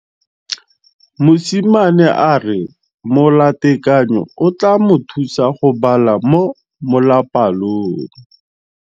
Mosimane a re molatekanyô o tla mo thusa go bala mo molapalong.